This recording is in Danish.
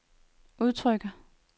udtrykker